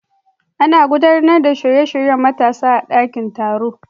Ana gudanar da shirye-shiryen matasa a dakin taro.